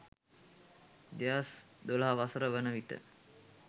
2012 වසර වන විට